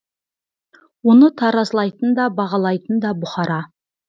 оны таразылайтын да бағалайтын да бұқара